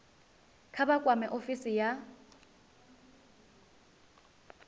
kha vha kwame ofisi ya